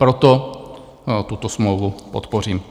Proto tuto smlouvu podpořím.